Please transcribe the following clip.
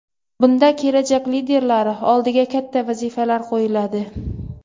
Bunda kelajak liderlari oldiga katta vazifalar qo‘yiladi.